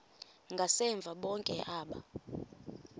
ngasemva bonke aba